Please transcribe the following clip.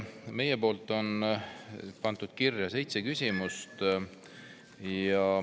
Meil on pandud kirja seitse küsimust.